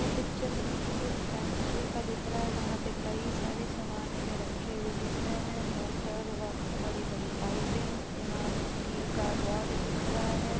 यह पिक्चर हमें किसी फैक्ट्री का दिख रहा है जहाँ पे कई सारे सामान हमें रखे हुए दिख रहे है मोटर व बड़ी बड़ी पाइपे पर यहाँ पर हमें स्टील का रॉड दिख रहा है ।